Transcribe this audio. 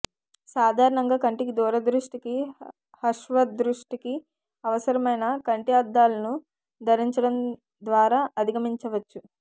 సాధారణంగా కంటికి దూరదృష్టికి హశ్వదృష్టికీ అవసరమైన కంటి అద్దాలను ధరించడం ద్వారా అధిగమించవచ్చు